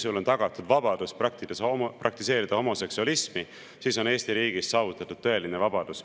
Kui sul on tagatud vabadus praktiseerida homoseksualismi, siis on Eesti riigis saavutatud tõeline vabadus.